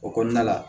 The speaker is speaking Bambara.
O kɔnɔna la